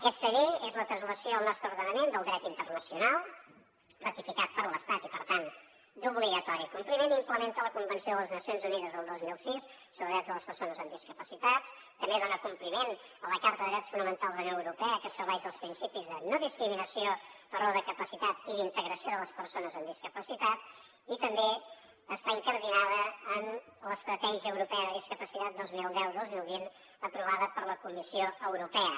aquesta llei és la translació al nostre ordenament del dret internacional ratificat per l’estat i per tant d’obligatori compliment i implementa la convenció de les nacions unides del dos mil sis sobre drets de les persones amb discapacitats també dona compliment a la carta de drets fonamentals de la unió europea que estableix els principis de no discriminació per raó de capacitat i d’integració de les persones amb discapacitat i també està incardinada en l’estratègia europea de discapacitat vint milions cent i dos mil vint aprovada per la comissió europea